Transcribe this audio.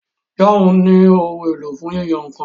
John ní Ohun èlò fún yíyan nǹkan.